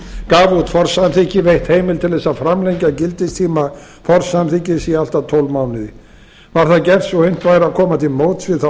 gaf út forsamþykki veitt heimild til þess að framlengja gildistíma forsamþykkis í allt að tólf mánuði varð það gert svo unnt væri að koma til móts við þá